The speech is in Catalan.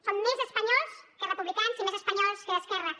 són més espanyols que republicans i més espanyols que d’esquerres